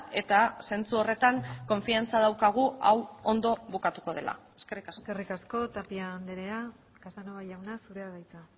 eta zentzu horretan konfiantza daukagu hau ondo bukatuko dela eskerrik asko eskerrik asko tapia andrea casanova jauna zurea da hitza